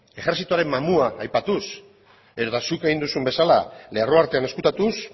ejerzitoaren mamua aipatuz edota zuk egin duzun bezala lerro artean ezkutatuz